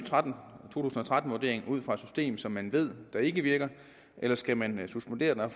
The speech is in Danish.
to tusind og tretten vurdering ud fra et system som man ved ikke virker eller skal man suspendere den og